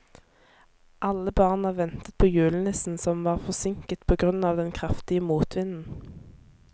Alle barna ventet på julenissen, som var forsinket på grunn av den kraftige motvinden.